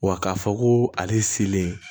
Wa k'a fɔ ko ale selen